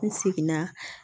N seginna